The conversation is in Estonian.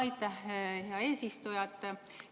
Aitäh, hea eesistuja!